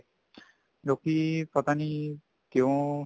ਲੋਕੀ ਪਤਾ ਨੀ ਕਿਉਂ